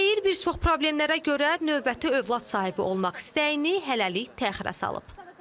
Deyir bir çox problemlərə görə növbəti övlad sahibi olmaq istəyini hələlik təxirə salıb.